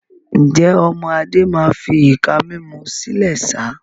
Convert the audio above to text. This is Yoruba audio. Ǹjẹ́, ọmọ Adé máa fi ìka mímú sílẹ̀ sá?